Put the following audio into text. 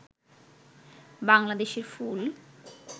বাংলাদেশের ফুল